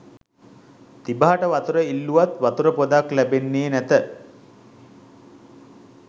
තිබහට වතුර ඉල්ලූවත් වතුර පොදක් ලැබෙන්නේ නැත